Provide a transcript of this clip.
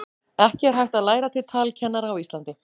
ekki er hægt að læra til talkennara á íslandi